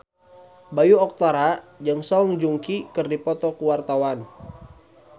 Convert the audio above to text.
Bayu Octara jeung Song Joong Ki keur dipoto ku wartawan